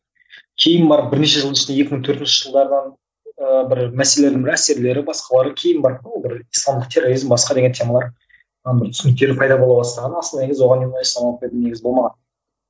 кейін барып бірнеше жыл ішінде екі мың төртінші жылдардан ыыы бір мәселенің бір әсерлері басқалары кейін барып ол бір исламдық терроризм басқа деген темалар ы бір түсініктері пайда бола бастаған асылы негізі оған дейін болмаған